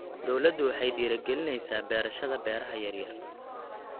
Dawladdu waxay dhiirigelinaysaa beerashada beeraha yaryar.